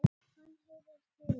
Hann heyrir til okkar.